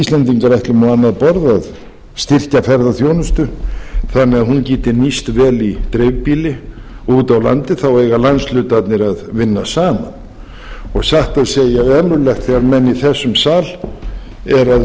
íslendingar ætlum á annað borð að styrkja ferðaþjónustu þannig að hún geti nýst vel í dreifbýli og úti á landi þá eiga landshlutarnir að vinna saman og satt að segja er ömurlegt þegar menn í þessum sal eru að reyna